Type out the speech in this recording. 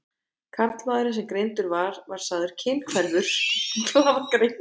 Karlmaðurinn sem greindur var var sagður kynhverfur í blaðagrein.